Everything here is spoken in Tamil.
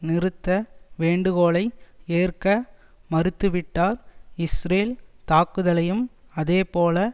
நிறுத்த வேண்டுகோளை ஏற்க மறுத்துவிட்டார் இஸ்ரேல் தாக்குதலையும் அதேபோல